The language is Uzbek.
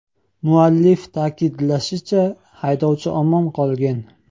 Muallif ta’kidlashicha, haydovchi omon qolgan.